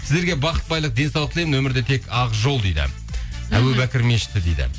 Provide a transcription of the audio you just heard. сіздерге бақыт байлық денсаулық тілеймін өмірде тек ақ жол дейді әбу бәуір мешіті дейді